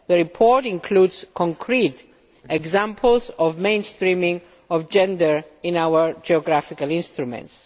The report includes concrete examples of mainstreaming of gender in our geographical instruments.